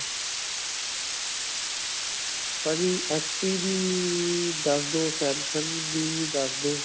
ਭਾਜੀ, HP ਦੀ ਦਸਦੋ samsung ਦੀ ਦਸਦੋ.